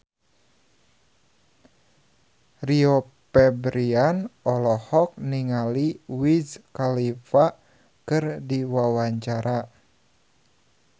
Rio Febrian olohok ningali Wiz Khalifa keur diwawancara